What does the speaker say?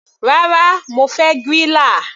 Rárá, mo fẹ́ griller.